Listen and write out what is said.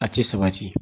A ti sabati